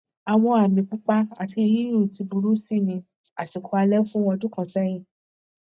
àwọn àmì pupa ati yíyún ti burú si ní àsìkò alẹ fún ọdún kan sẹyìn